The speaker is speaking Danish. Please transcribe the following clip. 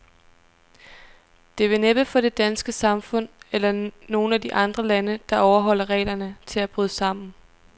Det vil næppe få det danske samfund, eller nogen af de andre lande, der overholder reglerne, til at bryde sammen.